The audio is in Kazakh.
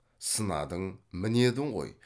сынадың мінедің ғой